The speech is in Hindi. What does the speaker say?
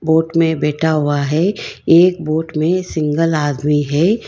बोट में बैठा हुआ है एक वोट में सिंगल आदमी है।